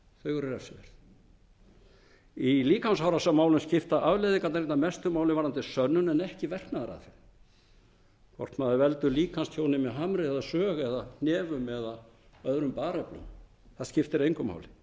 refsiverð í líkamsárásarmálum skipta afleiðingarnar einna mestu máli varðandi sönnun en ekki verknaðaraðferðin hvort maður veldur líkamstjóni með harmi eða sög eða hnefum eða öðrum bareflum það skiptir engu máli